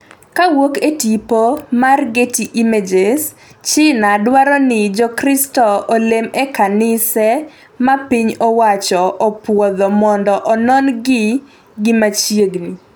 kowuok e tipo mar getty images China dwaro ni Jokristo olem e kanise ma piny owacho opuodho mondo onon gi gi machiegni